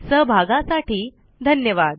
सहभागासाठी धन्यवाद